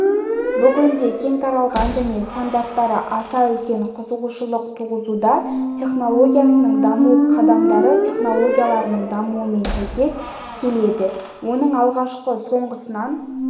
бүгінде кең таралған және стандарттары аса үлкен қызығушылық туғызуда технологиясының даму қадамдары технологияларының дамуымен сәйкес келеді оның алғашқысы соңғысынан